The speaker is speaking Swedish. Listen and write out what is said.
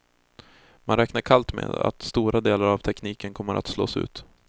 Man räknar kallt med att stora delar av tekniken kommer att slås ut.